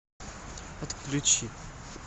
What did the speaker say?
отключи